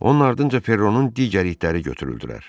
Onun ardınca Perronun digər itləri götürüldülər.